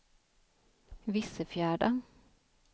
Vissefjärda